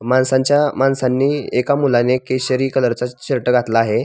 माणसांच्या माणसांनी एका मुलांनी केसरी कलर चा शर्ट घातला आहे.